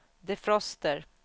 defroster